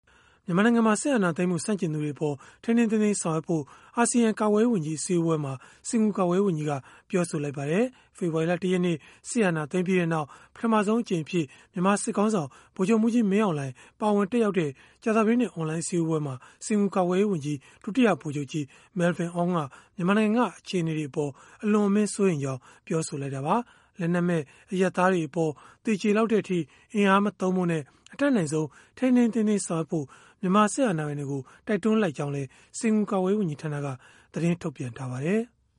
မြန်မာနိုင်ငံမှာ စစ်အာဏာသိမ်းမှု ဆန့်ကျင်သူတွေအပေါ် ထိန်းထိန်းသိမ်းသိမ်း ဆောင်ရွက်ဖို့ အာဆီယံကာကွယ်ရေးဝန်ကြီး အစည်းအဝေးမှာ စင်္ကာပူကာကွယ်ရေး ဝန်ကြီးက ပြောဆိုလိုက်ပါတယ်။ ဖေဖော်ဝါရီလ ၁ ရက်နေ့ စစ်အာဏာသိမ်းပြီးနောက် ပထမဆုံးအကြိမ်အဖြစ် မြန်မာစစ်ခေါင်းဆောင် ဗိုလ်ချုပ်မှူးကြီး မင်းအောင်လှိုင် ပါဝင်တက်ရောက်တဲ့ ကြာသပတေးနေ့ အွန်လိုင်း အစည်းအဝေးမှာ စင်္ကာပူ ကာကွယ်ရေးဝန်ကြီး ဒုတိယဗိုလ်ချုပ်ကြီး Melvyn Ong က မြန်မာနိုင်ငံက အခြေအနေတွေအပေါ် အလွန်အမင်း စိုးရိမ်ကြောင်း ပြောဆိုလိုက်တာပါ။ လက်နက်မဲ့ အရပ်သားတွေအပေါ် သေကျေလောက်တဲ့အထိ အင်အားမသုံးဖို့နဲ့ အတတ်နိုင်ဆုံး ထိန်းထိန်းသိမ်းသိမ်း ဆောင်ရွက်ဖို့ မြန်မာစစ်အာဏာပိုင်တွေကို တိုက်တွန်း လိုက်ကြောင်းလည်း စင်္ကာပူ ကာကွယ်ရေး ဝန်ကြီးဌာနက သတင်းထုတ်ပြန်ထားပါတယ်။